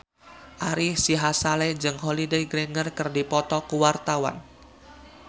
Ari Sihasale jeung Holliday Grainger keur dipoto ku wartawan